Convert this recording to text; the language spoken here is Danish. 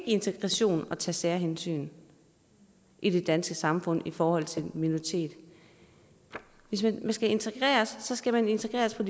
integration at tage særhensyn i det danske samfund i forhold til minoriteter hvis man skal integreres skal man integreres på